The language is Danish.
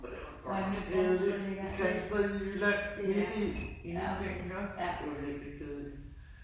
For det var godt nok kedeligt. Grindsted i Jylland midt i ingenting iggå. Det var virkelig kedeligt